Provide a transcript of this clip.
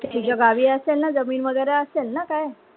तुजा गावी असेल ना जमीन वैगेरे असेल ना काय?